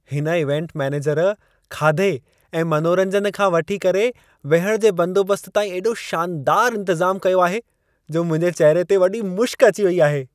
हिन event manager खाधे ऐं मनोरंजन खां वठी करे विहण जे बंदोबस्त ताईं एॾो शानदार इंतज़ाम कयो आहे, जो मुंहिंजे चहिरे ते वॾी मुशिक अची वई आहे।